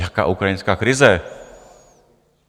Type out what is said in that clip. Jaká ukrajinská krize?